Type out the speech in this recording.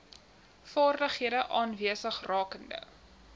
vaardighede aanwesig rakende